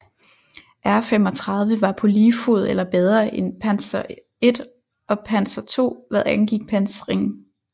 R35 var på lige fod eller bedre end Panzer I og Panzer II hvad angik pansring